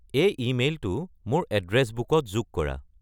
এই ইমেইলটো মোৰ এড্ৰেছ বুকত যোগ কৰা